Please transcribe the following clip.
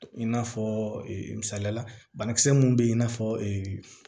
I n'a fɔ misaliya la banakisɛ mun be yen i n'a fɔ